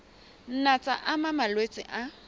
nna tsa ama malwetse a